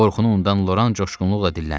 Qorxunu unudan Loran coşğunluqla dilləndi: